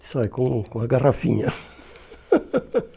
Disse, olha, com com a garrafinha.